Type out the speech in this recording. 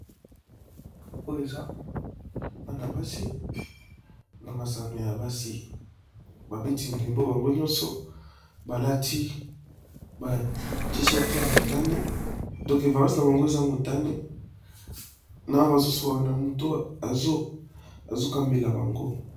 Oyo eza bana basi na masano ya basi, babeti ndembo bango nyonso balati ba t shirt ya motani, donc vareuse na bango eza motani, na bazolola na moto azokambela bango.